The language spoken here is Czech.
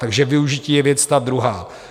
Takže využití je věc ta druhá.